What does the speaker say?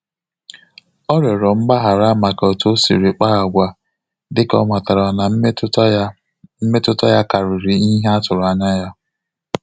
Ọ rịọrọ mgbaghara maka otu o siri kpa agwa, dịka ọ matara na mmetụta ya mmetụta ya karịrị ihe atụrụ anya ya